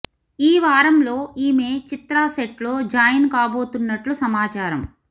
ఈ వారంలో ఈమె చిత్ర సెట్ లో జాయిన్ కాబోతున్నట్లు సమాచారం